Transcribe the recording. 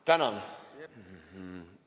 Tänan!